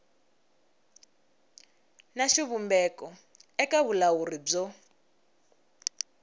na xivumbeko eka vulawuri byo